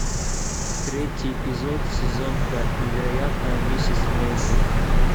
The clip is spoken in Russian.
третий эпизод сезон пять невероятная миссис мейзел